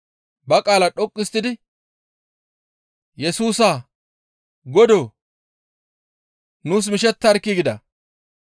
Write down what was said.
ba qaala dhoqqu histtidi, «Yesusaa! Godoo! Nuus mishettarkkii!» gida.